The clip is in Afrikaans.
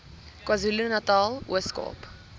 kwazulunatal ooskaap